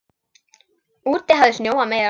Úti hafði snjóað meira.